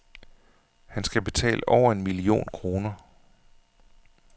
Han skal betale over en million kroner.